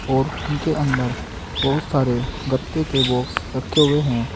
और उनके अंदर बहुत सारे गत्ते के बॉक्स रखे हुए हैं।